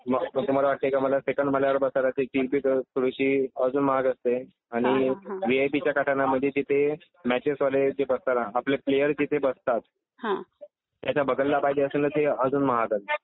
मग तुम्हाला वाटते की मला सेकंड मजल्यावर बसायला हवं .. त्याची थोडी अजून महाग असते. आणि व्हीआयपीच्या काटाण्या मधे तिथे मॅचेसवाले जे तिथे बसताना आपले प्लेयर जिथे बसतात त्यांच्या बगलला पाहिजे तर अजून महाग असते.